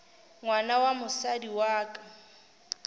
ngwana wa mosadi wa ka